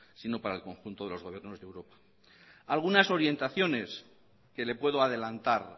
sino para el conjunto de los gobiernos de europa algunas orientaciones que le puedo adelantar